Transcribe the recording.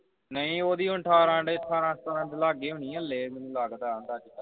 ਨਹੀਂ ਉਹ ਦੀ ਹੁਣ ਅਠਾਰਾਂ ਹੁਣ ਅਠਾਰਾਂ ਸਤਾਰਾਂ ਦੇ ਲਾਗੇ ਹੋਣੀ ਏਂ ਮੈਨੂੰ ਲੱਗਦਾ ਹੈ